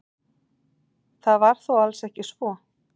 Það var þó alls ekki svo.